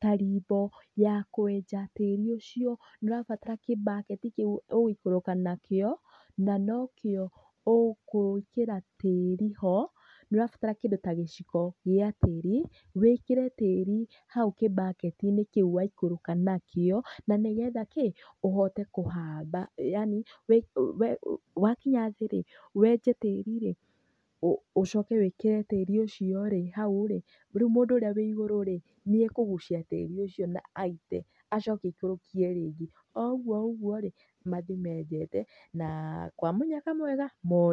ta rimbo ya kwenja tĩri ucio nĩ ũrabatara kĩ bucket kĩu ũgũikũrũka nakĩo na nokĩo ũgwĩkĩra tĩri ho, nĩ ũrabatara kĩndũ ta gĩciko gĩa tĩri wĩkĩre tĩri hau kĩ bucket -inĩ kĩu waikũrũka nakĩo na nĩgetha kĩ, ũhote kũhamba yaani wakinya thĩ rĩ, wenje tĩri rĩ, ũcoke wĩkĩre tĩri ucio rĩ hau rĩ rĩu mũndũ ũrĩa wĩ igũrũ rĩ nĩekũgucia tĩri ucio na aite acoke aikũrũkie rĩngĩ, o ũguo ũguo rĩ mathiĩ menjete na kwa mũnyaka mwega mone maĩ.